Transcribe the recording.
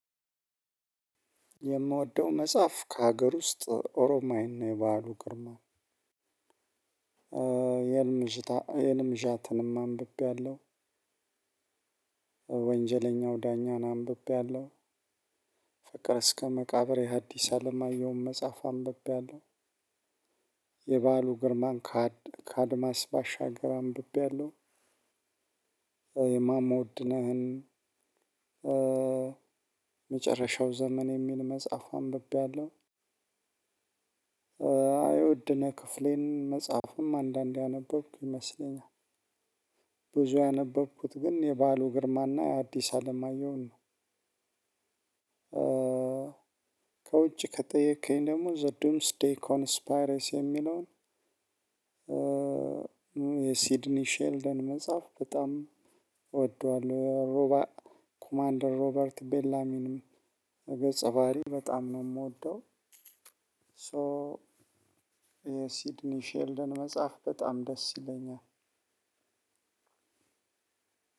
የምወደው መጽሐፍ ከሀገር ውስጥ ኦሮማይን ነው የባሉ ግርማ የልምሽታ የልምሻትንም አንብቤያለሁ። ወንጀለኛው ዳኛን አንብቤያለሁ። ፈቅር እስከ መቃብር የሐዲስ አለማየሁን መጽሐፍ አንብቤያለሁ። የባሉ ግርማን ከአድማስ ባሻገር አንብቤያለሁ አለው። የማሞ ወድነህን። መጨረሻው ዘመን የሚል መጽሐፉ አንብቤያለሁ። የውድነህ ክፍሌን መጽሐፉም አንዳንዴ ያነበብኩ ይመስለኛል። ብዙ ያነበብኩት ግን የባሉ ግርማና የአዲስ አለማየሁን ነው። ከውጭ ከጠየከኝ ደግሞ ዘዱምስ ዴይ ኮንስፓረስ የሚለውን የሲድኒ ሼልደን መጽሐፍ በጣም እወደዋለሁ። ኮማንደር ሮበርት ቤላሚንም ገጸባሪ በጣም ነው የምወደው። ሶ የሲድኒ ሼልድን በጣም ደስ ይለኛል።